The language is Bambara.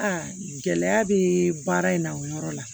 Aa gɛlɛya bɛ baara in na o yɔrɔ la